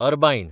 Arbaeen